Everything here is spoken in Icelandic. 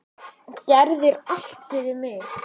Gerðir allt fyrir mig.